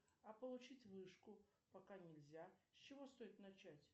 а получить вышку пока нельзя с чего стоит начать